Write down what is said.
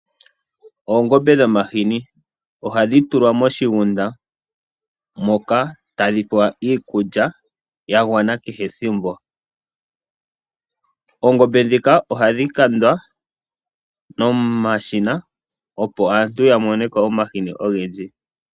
Oongombe dhomahini ohadhi tulwa moshigunda moka tadhi pewa iikulya ya gwana kehe ethimbo . Oongombe ndhika ohadhi kandwa nomashina opo aantu yamoneko omahini ogendji